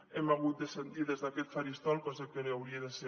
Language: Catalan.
hem hagut de sentir des d’aquest faristol cosa que no hauria de ser